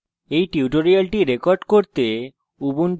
এই tutorial record করতে আমি